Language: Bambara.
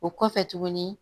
O kɔfɛ tuguni